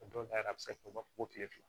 A dɔw la yɛrɛ a bɛ se ka fɔ ko kile fila